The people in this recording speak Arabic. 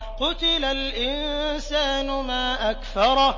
قُتِلَ الْإِنسَانُ مَا أَكْفَرَهُ